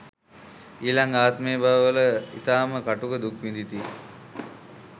ඊළඟ ආත්ම බව වල ඉතාම කටුක දුක් විඳිති.